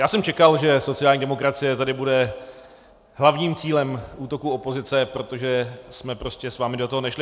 Já jsem čekal, že sociální demokracie tady bude hlavním cílem útoků opozice, protože jsme prostě s vámi do toho nešli.